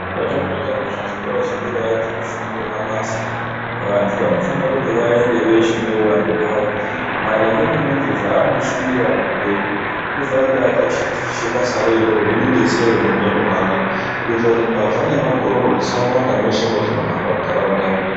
Patinoita nezvechikorayo chekufundira mabasa vantu vanofanira kuti vaende veshe neuvandu hwavo. Maringe ngemuntu zvaanoshuvira muupenyo anofanira kuti atachite basa rororo rimubetsere muupenyu hwake. Kuitira kuri mbavha nemagororo zvisawanda mweshe mwatinohamba munharaunda umwu.